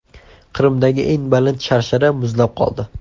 Qrimdagi eng baland sharshara muzlab qoldi .